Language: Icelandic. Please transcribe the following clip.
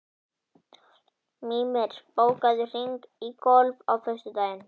Mímir, bókaðu hring í golf á föstudaginn.